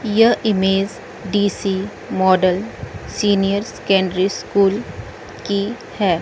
यह image D C model senior secondary school की है।